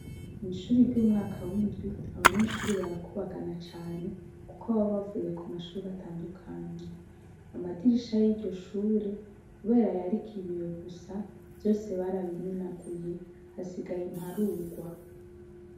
Mw'ishure ry'umwaka w'indwi, abanyeshure barakubagana cane kuko baba bavuye ku mashure atandukanye. Amadirisha y'iryo shure kubera yuko yariko ibiyo gusa, vyose barabimenaguye, hasigaye imparugwa.